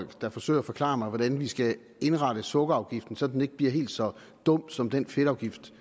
der forsøger at forklare mig hvordan vi skal indrette sukkerafgiften så den ikke bliver helt så dum som den fedtafgift